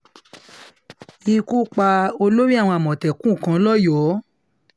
ikú pa olórí àwọn àmọ̀tẹ́kùn kan lọ́yọ́ọ́